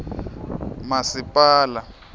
masipala